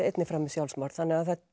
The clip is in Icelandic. einnig framið sjálfsmorð þannig að